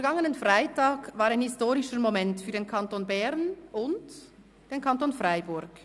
Der vergangene Freitag war ein historischer Moment für den Kanton Bern und den Kanton Freiburg.